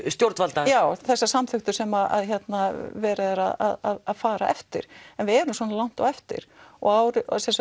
stjórnvalda já þessa samþykktu sem verið er að fara eftir en við erum svona langt á eftir og